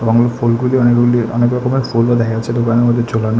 অমন ফুলগুলি অনেকগুলি অনেক রকমের ফুল ও দেখা যাচ্ছে দোকানের মধ্যে ঝোলানো।